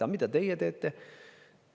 Aga mida teie teete?